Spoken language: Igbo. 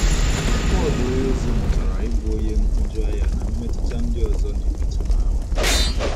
Pọl onyeozi mụtara ịbụ onye nhụjuanya na mmetụta ndị ọzọ na - emetụ n’ahụ́.